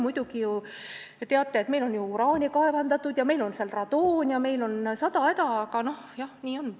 Te teate, et meil on ju uraani kaevandatud, meil on radoon ja meil on sada häda, aga nii on.